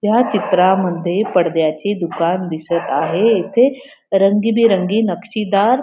या चित्रांमध्ये पडद्याचे दुकान दिसत आहे येथे रंगीबिरंगी नक्षीदार --